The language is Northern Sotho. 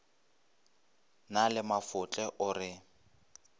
na le mafotle o re